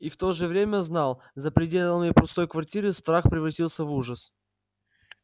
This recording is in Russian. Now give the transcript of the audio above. и в то же время знал за пределами пустой квартиры страх превратится в ужас